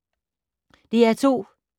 DR2